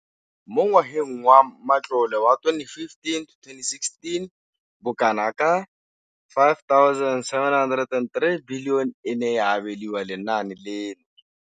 Mo ngwageng wa matlole wa 2015,16, bokanaka R5 703 bilione e ne ya abelwa lenaane leno.